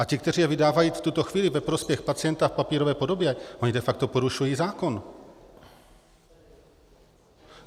A ti, kteří je vydávají v tuto chvíli ve prospěch pacienta v papírové podobě, oni de facto porušují zákon.